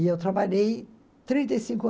E eu trabalhei trinto e cinco an